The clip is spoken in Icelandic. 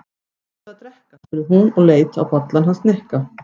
Hvað ertu að drekka? spurði hún og leit á bollann hans Nikka.